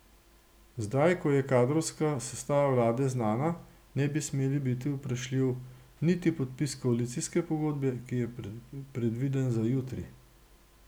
Zdaj ko je kadrovska sestava vlade znana, ne bi smel biti vprašljiv niti podpis koalicijske pogodbe, ki je predviden za jutri.